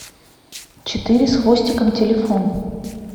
четыре с хвостиком телефон